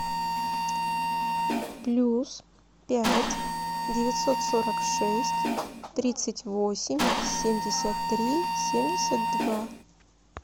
плюс пять девятьсот сорок шесть тридцать восемь семьдесят три семьдесят два